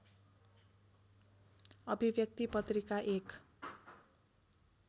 अभिव्यक्ति पत्रिका एक